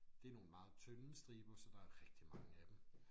Det nogle meget tynde striber så der er rigtig mange af dem